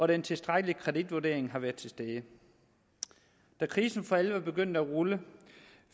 den tilstrækkelige kreditvurdering har været til stede da krisen for alvor begyndte at rulle